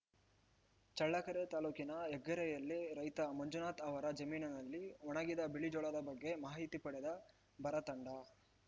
ಚಳ್ಳಕೆರೆ ತಾಲೂಕಿನ ಹೆಗ್ಗೆರೆಯಲ್ಲಿ ರೈತ ಮಂಜುನಾಥ ಅವರ ಜಮೀನಿನಲ್ಲಿ ಒಣಗಿದ ಬಿಳಿಜೋಳದ ಬಗ್ಗೆ ಮಾಹಿತಿ ಪಡೆದ ಬರ ತಂಡ